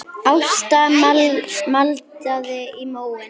Ásta maldaði í móinn.